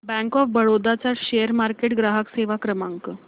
bank of Baroda चा share market ग्राहक सेवा क्रमांक